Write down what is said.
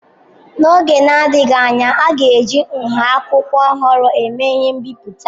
N'oge na-adịghị anya, a ga-eji nha akwụkwọ ọhụrụ eme ihe mbipụta.